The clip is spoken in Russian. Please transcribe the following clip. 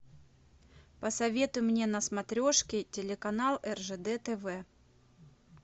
посоветуй мне на смотрешке телеканал ржд тв